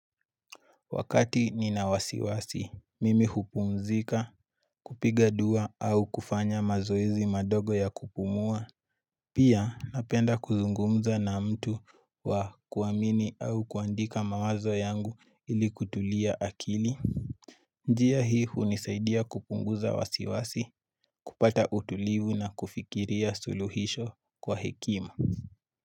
Wakati ninawasiwasi, mimi hupumzika kupiga dua au kufanya mazoezi madogo ya kupumua. Pia napenda kuzungumza na mtu wa kuamini au kuandika mawazo yangu ili kutulia akili. Njia hii hunisaidia kupunguza wasiwasi, kupata utulivu na kufikiria suluhisho kwa hekima.